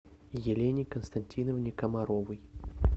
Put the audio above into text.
елене константиновне комаровой